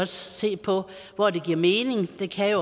se på hvor det giver mening det kan